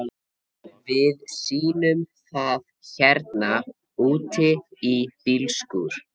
Við sýnum það hérna úti í bílskúr.